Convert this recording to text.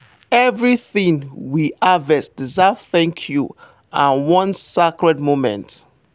everything we harvest deserve thank you and one sacred moment.